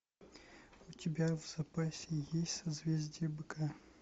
у тебя в запасе есть созвездие быка